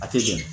A tɛ jɔn